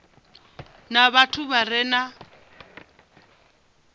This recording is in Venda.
na vhathu vha re na